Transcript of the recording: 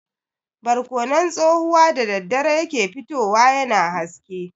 Barkonon tsohuwa da daddare ya ke fitowa yana haske.